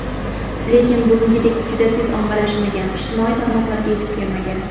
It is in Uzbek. Lekin bugungidek juda tez ommalashmagan, ijtimoiy tarmoqlarga yetib kelmagan.